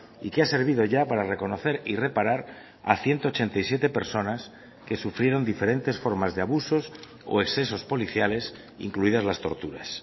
y que ha servido ya para reconocer y reparar a ciento ochenta y siete personas que sufrieron diferentes formas de abusos o excesos policiales incluidas las torturas